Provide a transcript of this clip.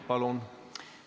Palun!